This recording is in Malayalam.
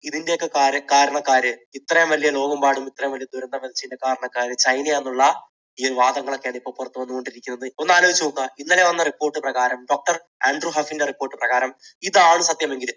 ഇതിനെയൊക്കെ കാരണക്കാര്, ഇത്രയും വലിയ ലോകമെമ്പാടുമുള്ള ഇത്രയും വലിയ ദുരന്തത്തിന് കാരണക്കാർ ചൈന ആണെന്നുള്ള ഈയൊരു വാദങ്ങൾ ഒക്കെയാണ് ഇപ്പോൾ പുറത്തുവന്നു കൊണ്ടിരിക്കുന്നത്. ഒന്നാലോചിച്ചു നോക്കുക ഇന്നലെ വന്ന report പ്രകാരം അതിൽ വന്നിരിക്കുന്ന report പ്രകാരം ഇതാണ് സത്യമെങ്കിൽ